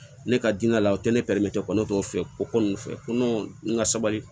Ne ka diinɛ la o tɛ ne tɔw fɛ ko ninnu fɛ ko n ka sabali